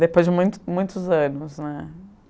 Depois de muito muitos anos, né?